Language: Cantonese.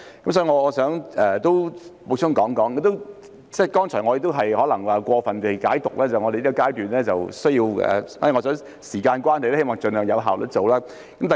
所以，我想補充，剛才也有可能是過分解讀，認為在這個階段，因為時間關係，需要盡量有效率地做。